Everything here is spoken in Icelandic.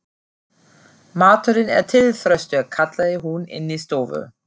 Maturinn er til, Þröstur, kallaði hún inní stofu.